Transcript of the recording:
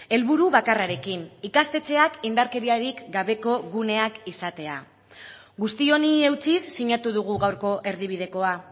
helburu bakarrarekin ikastetxeak indarkeriarik gabeko guneak izatea guzti honi eutsiz sinatu dugu gaurko erdibidekoa